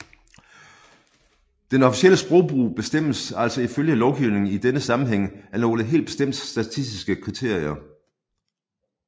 Den officielle sprogbrug bestemmes altså ifølge lovgivningen i denne sammenhæng af nogle helt bestemte statistiske kriterier